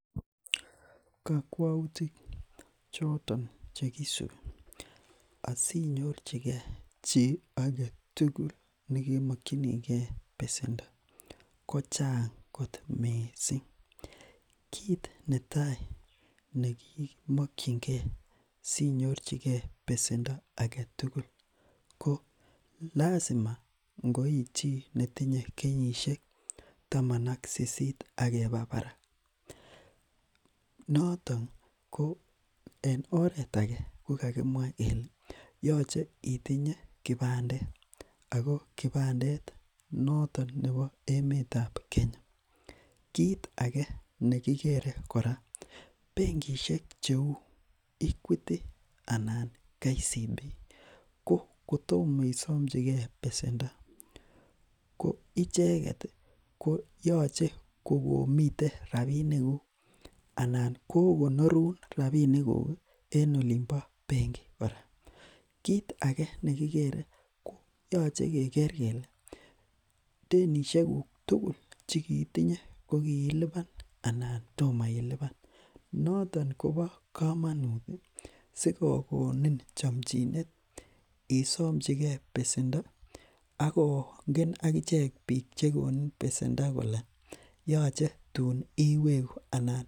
Kakwautik choton chekisubi asinyorchike chi agetugul nekemakyinige besendo ko Chang kot missing ih , kit Natai nekimakyinge si nyorchike besendo aketugul ko lazima itinye kenyisiek taman ak sisit ih noton ko oret age ko kakimwa kele yache itinye kibandet ago kibandetab emetab Kenya. Nekikere kora , bengishek cheuu, equity anan kcb ko kotoma isamchike besendo koyache kokomite rabinik kuk Anan ko rabinik kuk en olimbo bengi kora. Yache keker kele tenishek tugul kokiiluban anan toma, noton koba kamanut sikokonin chamchinet isamchike besendo Ako ng'em akichek bikab besendo koel yache tun iweku.